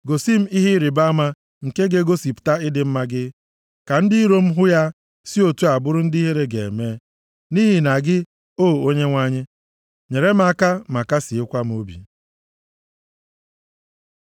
Gosi m ihe ịrịbama nke ga-egosipụta ịdị mma gị, ka ndị iro m hụ ya si otu a bụrụ ndị ihere ga-eme, nʼihi na gị, O Onyenwe anyị, nyere m aka ma kasịekwa m obi.